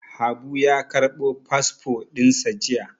Habu ya ƙarɓo fasfo ɗin sa jiya.